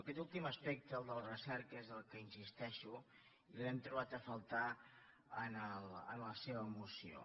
aquest últim aspecte el de la recerca és en el que insisteixo i l’hem trobat a faltar en la seva moció